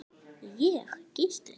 Ég: Gísli.